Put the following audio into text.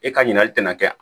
E ka ɲininkali tɛna kɛ